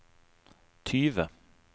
tyve